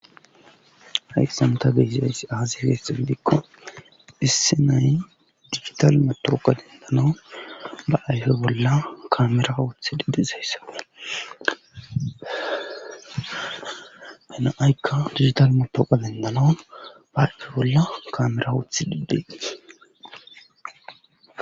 Hyasan ta beyziayss aazi heesxi gidikko issi nay digital motooqa dendanawun ba ayfe bolla kamera woothi didizayssawe hena7aykka digital motooqa dendanawun ba ayfe bolla kamera oothi dibbei